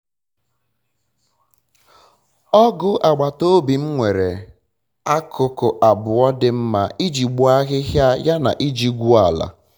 ọgụ agbatobi m nwere akụkụ abụọ dị mma iji gbuo ahịhịa ya na iji gwuo ala